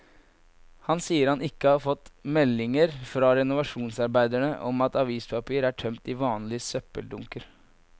Han sier han ikke har fått meldinger fra renovasjonsarbeiderne om at avispapir er tømt i vanlige søppeldunker.